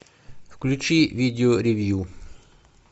включи видео ревью